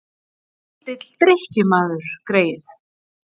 En lítill drykkjumaður, greyið.